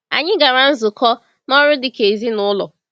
Anyị gara nzukọ na ọrụ dịka ezinụlọ.